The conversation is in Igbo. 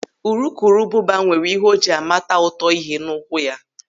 Urukurubụba nwere ihe o ji a mata ụtọ ihe n'ụkwụ ya.